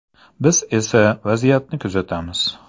Biz esa vaziyatni kuzatamiz.